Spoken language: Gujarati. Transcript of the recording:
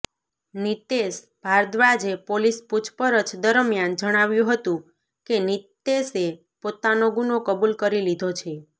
નિતેશ ભારદ્વાજે પોલીસ પુછપરછ દરમિયાન જણાવ્યું હતું કે નિતેશે પોતાનો ગુનો કબૂલ કરી લીધો છે